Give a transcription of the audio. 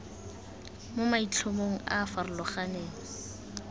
mo maitlhomong a a farologaneng